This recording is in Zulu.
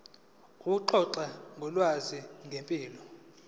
ukuxoxa ngolwazi ngempilo